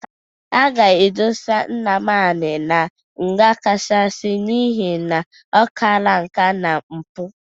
A ga-edosa Nnamani na nga kachasị n'ihe na ọkala nka na mpụ.